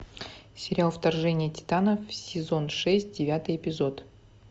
сериал вторжение титанов сезон шесть девятый эпизод